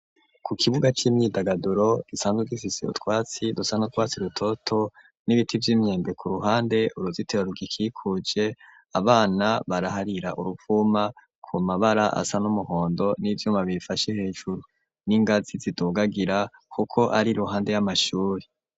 ku kibuga c'imyidagaduro gisanzwe utwatsi dusa n,utwatsi rutoto n'ibiti vy'imyembe ku ruhande uruzitiro rugikikuje abana baraharira uruvuma ku mabara asa n'umuhondo n'ivyuma bifashe hejuru n'ingazi zidugagira kuko ari ruhande y'amashuri